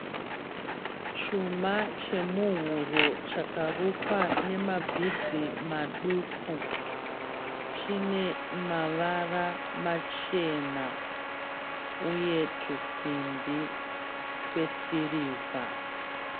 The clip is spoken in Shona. Chuma chemuhuro chakarukwa nema bhidzi maduku chine mavara machena uye tusimbi twesirivha.